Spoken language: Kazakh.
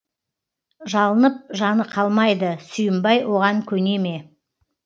жалынып жаны қалмайды сүйінбай оған көне ме